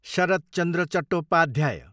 Sharad Chandra Chattopadhyay